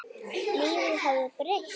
Lífið hafði breyst.